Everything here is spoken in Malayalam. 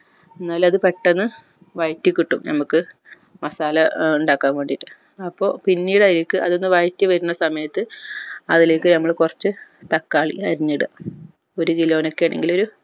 എന്നാലെ അത് പെട്ടന്ന് വയറ്റിക്കിട്ടു നമ്മക് masala ഏർ ഇണ്ടാകാൻ വേണ്ടിട്ട് അപ്പോ പിന്നീട് അയിലേക്ക് അത് ഒന്ന് വയറ്റി വരുന്ന സമയത് അതിലേക്ക് നമ്മൾ കൊർച്ച് തക്കാളി അരിഞ്ഞിട ഒരു kilo ന് ഒക്കെ ആണെങ്കിൽ ഒരു